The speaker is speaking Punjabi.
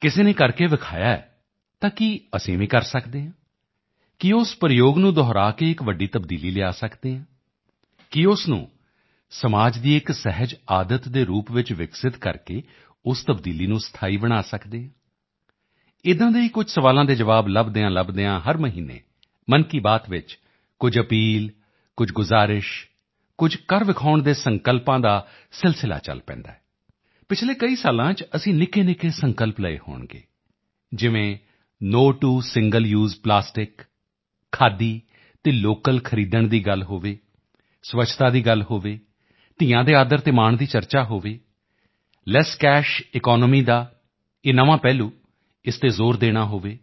ਕਿਸੇ ਨੇ ਕਰਕੇ ਦਿਖਾਇਆ ਹੈ ਤਾਂ ਕੀ ਅਸੀਂ ਵੀ ਕਰ ਸਕਦੇ ਹਾਂ ਕੀ ਉਸ ਪ੍ਰਯੋਗ ਨੂੰ ਦੁਹਰਾ ਕੇ ਇੱਕ ਵੱਡੀ ਤਬਦੀਲੀ ਲਿਆ ਸਕਦੇ ਹਾਂ ਕੀ ਉਸ ਨੂੰ ਸਮਾਜ ਦੀ ਇੱਕ ਸਹਿਜ ਆਦਤ ਦੇ ਰੂਪ ਵਿੱਚ ਵਿਕਸਿਤ ਕਰਕੇ ਉਸ ਤਬਦੀਲੀ ਨੂੰ ਸਥਾਈ ਬਣਾ ਸਕਦੇ ਹਾਂ ਏਦਾਂ ਦੇ ਹੀ ਕੁਝ ਸਵਾਲਾਂ ਦੇ ਜਵਾਬ ਲੱਭਦਿਆਂਲੱਭਦਿਆਂ ਹਰ ਮਹੀਨੇ ਮਨ ਕੀ ਬਾਤ ਵਿੱਚ ਕੁਝ ਅਪੀਲ ਕੁਝ ਗੁਜਾਰਿਸ਼ ਕੁਝ ਕਰ ਵਿਖਾਉਣ ਦੇ ਸੰਕਲਪਾਂ ਦਾ ਸਿਲਸਿਲਾ ਚਲ ਪੈਂਦਾ ਹੈ ਪਿਛਲੇ ਕਈਆਂ ਸਾਲਾਂ ਚ ਅਸੀਂ ਨਿੱਕੇਨਿੱਕੇ ਸੰਕਲਪ ਲਏ ਹੋਣਗੇ ਜਿਵੇਂ no to single use plastic khadi ਅਤੇ ਲੋਕਲ ਖਰੀਦਣ ਦੀ ਗੱਲ ਹੋਵੇ ਸਵੱਛਤਾ ਦੀ ਗੱਲ ਹੋਵੇ ਧੀਆਂ ਬੇਟੀਆਂ ਦੇ ਆਦਰ ਅਤੇ ਮਾਣ ਦੀ ਚਰਚਾ ਹੋਵੇ ਲੈੱਸ ਕੈਸ਼ ਈਕੋਨੋਮੀ ਦਾ ਇਹ ਨਵਾਂ ਪਹਿਲੂ ਇਸ ਤੇ ਜ਼ੋਰ ਦੇਣਾ ਹੋਵੇ